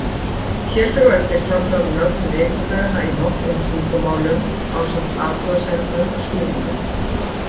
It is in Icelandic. Hér fer á eftir tafla um nöfn vikudaganna í nokkrum tungumálum, ásamt athugasemdum og skýringum.